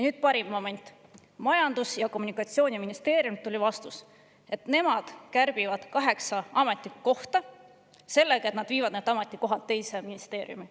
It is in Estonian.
Nüüd parim moment: Majandus‑ ja Kommunikatsiooniministeeriumilt tuli vastus, et nemad kärbivad kaheksa ametikohta – sellega, et nad viivad need ametikohad teise ministeeriumi.